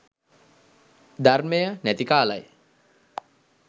ධර්මය නැති කාලයි